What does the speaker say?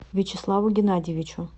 вячеславу геннадьевичу